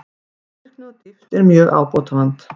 Skilvirkni og dýpt er mjög ábótavant